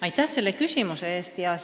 Aitäh selle küsimuse eest!